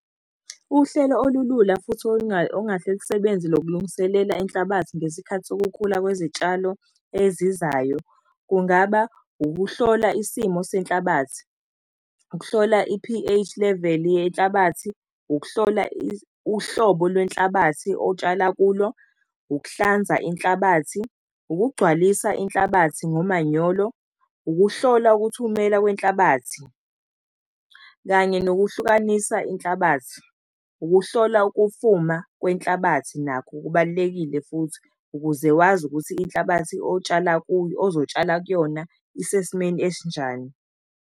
Uhlelo olulula futhi olungase lusebenze lokulungiselela inhlabathi ngesikhathi sokukhula kwezitshalo ezizayo, kungaba ukuhlola isimo senhlabathi, ukuhlola i-P_H level yenhlabathi, ukuhlola uhlobo lwenhlabathi otshala kulo, ukuhlanza inhlabathi, ukugcwalisa inhlabathi nomanyolo, ukuhlola ukuthumela kwenhlabathi, kanye nokuhlukanisa inhlabathi. Ukuhlola ukufuma kwenhlabathi nakho kubalulekile futhi, ukuze wazi ukuthi inhlabathi otshala kuyo, ozotshala kuyona isesimeni esinjani.